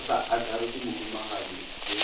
go sa akarešwe mohumagadi bhe